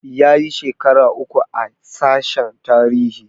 Yayi shekara uku a sashen tarihi